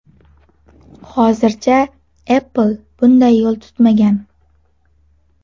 Hozircha Apple bunday yo‘l tutmagan.